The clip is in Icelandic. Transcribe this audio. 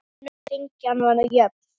Önnur hrinan var jöfn.